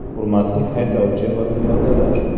Hurmatli haydovchi va piyodalar!